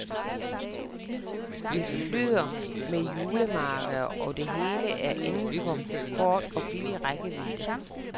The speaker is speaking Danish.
Det flyder med julemarkeder, og det hele er inden for kort og billig rækkevidde.